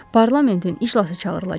Parlamentin iclası çağırılacaq.